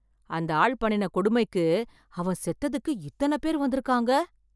அந்த ஆள் பண்ணின கொடுமைக்கு அவன் செத்ததுக்கு இத்தன பேர் வந்திருக்காங்க.